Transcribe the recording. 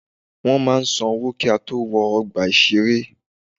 Wọ́n máa san owó kí á tó wọ ọgbà ìṣeré.